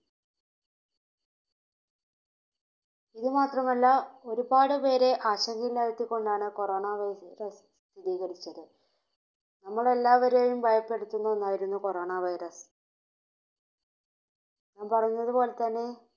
ഇതുമാത്രമല്ല ഒരുപാട് പേരെ ആശങ്കയിലാഴ്ത്തിക്കൊണ്ടാണ് Corona virus സ്ഥിരീകരിച്ചത്. നമ്മൾ എല്ലാവരെയും ഭയപ്പെടുത്തുന്ന ഒന്നായിരുന്നു Corona virus. ഞാൻ പറഞ്ഞതു പോലെത്തന്നെ